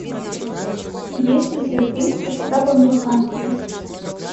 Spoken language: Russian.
есть ли у тебя фильм красота по американски